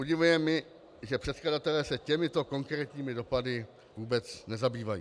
Udivuje mě, že předkladatelé se těmito konkrétními dopady vůbec nezabývají.